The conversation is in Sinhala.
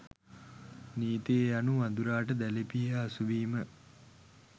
නීතිය යනු වඳුරාට දැලි පිහිය හසුවීම